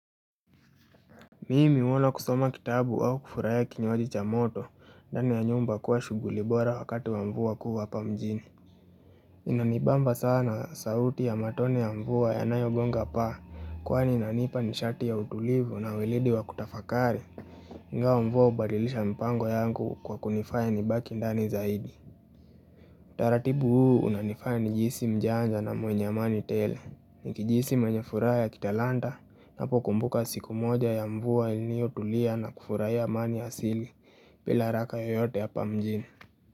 Mimi huona kusoma kitabu au kufurahia kinywaji cha moto, ndani ya nyumba kuwa shughuli bora wakati wa mvua kubwa hapa mjini. Inanibamba sana sauti ya matone ya mvua ya nayogonga paa, kwa ni inanipa nishati ya utulivu na weledi wa kutafakari. Ingawa mvua hubadilisha mpango yangu kwa kunifanya nibaki ndani zaidi. Taratibu huu unanifanya nijisi mjanja na mwenye amani tele. Nikijihisi mwenye furaha ya kitalanda Napo kumbuka siku moja ya mvua ilinio tulia na kufurahia amani asili bila haraka yoyote hapa mjini.